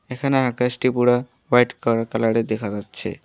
এখানে আকাশটি পুরা হোয়াইট কার কালার -এর দেখা যাচ্ছে।